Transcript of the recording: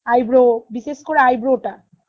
eyebrow বিশেষ করে eyebrow টা